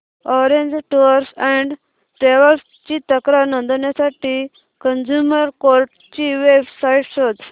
orange tours and travels ची तक्रार नोंदवण्यासाठी कंझ्युमर कोर्ट ची वेब साइट शोध